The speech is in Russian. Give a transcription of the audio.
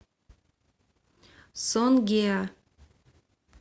сонгеа